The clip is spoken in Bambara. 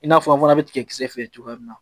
I n'a fɔ an fana bɛ tigɛ kisɛ feere cogoya min na